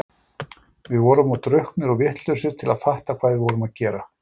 Við vorum of drukknir og vitlausir til að fatta hvað við vorum að gera.